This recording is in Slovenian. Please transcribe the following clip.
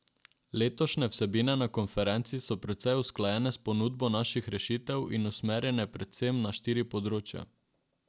Letošnje vsebine na konferenci so precej usklajene s ponudbo naših rešitev in usmerjene predvsem na štiri področja.